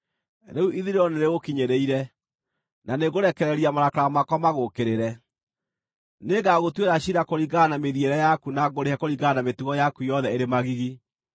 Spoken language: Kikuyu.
Rĩu ithirĩro nĩrĩgũkinyĩrĩire, na nĩngũrekereria marakara makwa magũũkĩrĩre. Nĩngagũtuĩra ciira kũringana na mĩthiĩre yaku na ngũrĩhe kũringana na mĩtugo yaku yothe ĩrĩ magigi.